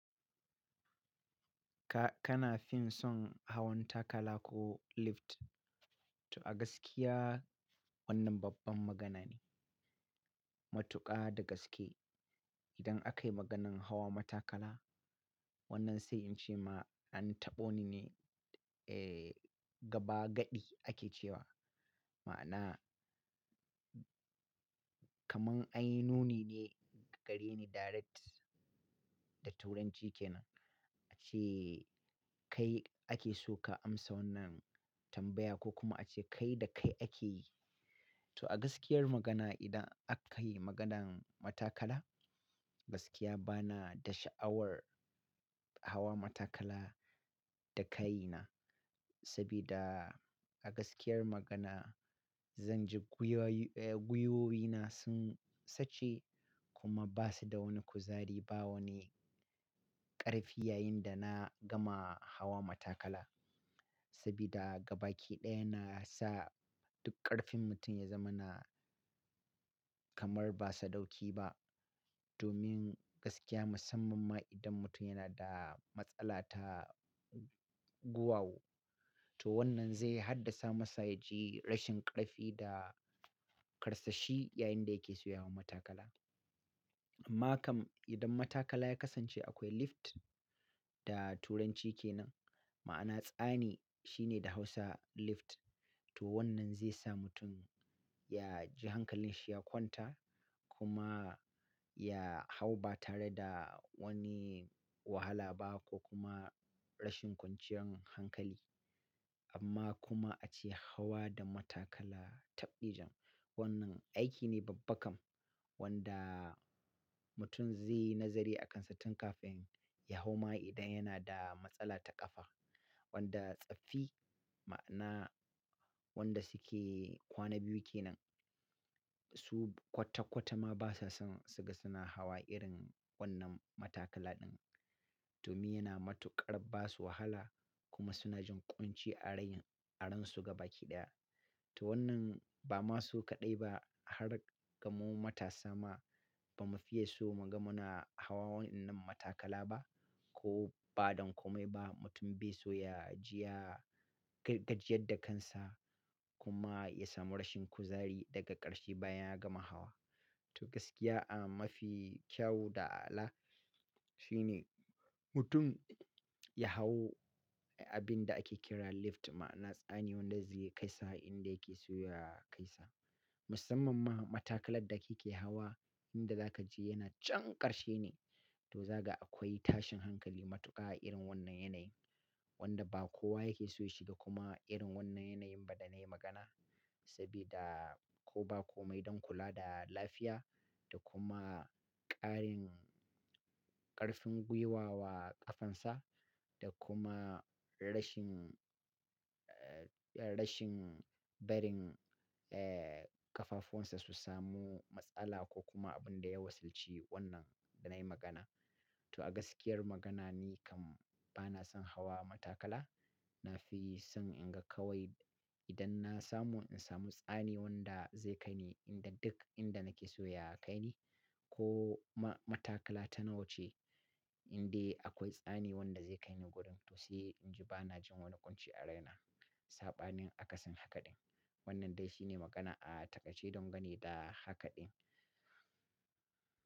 Ka-kana fin son hawan takala ko lift? To a gaskiya wannan babban magana ne. Matuƙa da gaske. Idan akayi maganan hawa matakala wannan sai in ce ma an taɓo ni ne. Eh, gaba gaɗi ake cewa. Ma'ana, kaman an yi nuni ne, a gare ni direct da turanci kenan. Ace kai ake so ka amsa wannan tambaya ko kuma ace kai da kai ake yi. To a gaskiyar magana idan aka yi maganan matakala, gaskiya bana da sha'awar hawa matakala da kaina. Sabida a gaskiyar magana, zan ji gwiwoyi, eh gwiwoyi na sun sace kuma basu da wani kuzari, ba wani ƙarfi yayin da na gama hawa matakala. Sabida gabaki ɗaya na sa duk ƙarfin mutum ya zama na kamar ba saɗauki ba. Domin gaskiya musamman ma idan mutum yana da matsala ta guwawu. To wannan zai haddasa masa ya ji rashin ƙarfi da karsashi yayin da yake so ya hau matakala. Amma kam idan matakala ya kasance akwai lift da turanci kenan, ma'ana tsani shine da hausa lift. To wannan zai sa mutum ya ji hankalin shi ya kwanta kuma ya hau ba tare da wani wahala ba ko kuma rashin kwanciyar hankali. Amma kuma ace hawa da matakala, tabɗijan, wannan aiki ne babba kam wanda mutum zaiyi nazari akan shi tun kafin ya hau ma idan yana da matsala ta kafa wanda tsaffi ma'ana wanda suke kwana biyu kenan. Su kwata-kwata ma basa son suga suna hawa irin wannan matakala ɗin. Domin yana matuƙar ba su wahala kuma suna jin ƙunci a rain, a ransu gabaki ɗaya. To wannan bama su kaɗai ba har ga mu matasa ma ba mu fiye so muga muna hawa waɗanan matakala ba ko ba don komai ba mutum be so ya jiya, gaj-gajiyar da kansa kuma ya samu rashin kuzari daga ƙarshe bayan ya gama hawa. To gaskiya a mafi kyawu da a'ala shine mutum ya hau abinda ake kira lift, ma'ana tsani wanda zai kai sa inda yake so ya kai sa musamman ma matakalar da kike hawa inda zaka je yana chan ƙarshe ne. To zaga akwai tashin hankali matuƙa a irin wannan yanayin. Wanda ba kowa yake so ya shiga kuma irin wannan yanayin ba da na yi magana. Sabida koh ba komai don kula da lafiya da kuma ƙarin ƙarfin gwiwa wa kafan sa da kuma rashin eh eh rashin barin eh ƙafafuwan sa su samu matsala ko kuma abin da ya wasilci wannan da nayi magana. To a gaskiyar magana ni kam bana son hawa matakala. Na fi son in ga kawai idan na samu in samu tsani wanda zai kai ni inda duk inda nake so ya kai ni ko ma matakala ta nawa ce indai akwai tsani wanda zai kai ni gurin toh sai inji banajin wani ƙunci a raina saɓanin akasin haka ɗin. Wannan dai shine magana a takaice don gane da haka ɗin.